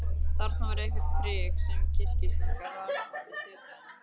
Þarna var eitthvert prik sem kyrkislanga vafðist utan um.